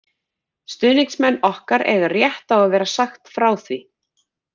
Stuðningsmenn okkar eiga rétt á að vera sagt frá því.